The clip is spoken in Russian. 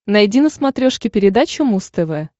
найди на смотрешке передачу муз тв